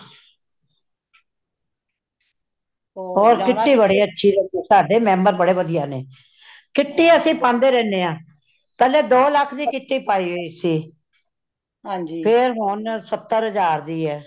kitty ਬੜੀ ਅੱਛੁ ਲੱਗੀ ,ਸਾਡੇ member ਬੜੇ ਵਦੀਆਂ ਨੇ , kitty ਅਸੀਂ ਪਾਂਦੇ ਰਹਿੰਦੇ ਹਾਂ , ਪਹਿਲੇ ਦੋ ਲੱਖ ਦੀ kitty ਪਾਈ ਹੋਈ ਸੀ , ਫੇਰ ਹੋਣ ਸ਼ਤਰ ਹਜਾਰ ਦੀ ਹੇ।